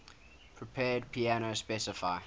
prepared piano specify